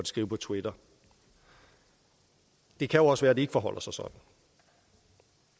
skrive på twitter det kan jo også være at det ikke forholder sig sådan